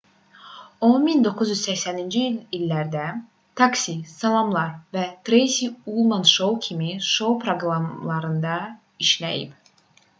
o 1980-ci illərdə taksi salamlar və treysi ullman şou kimi şou proqramlarında işləyib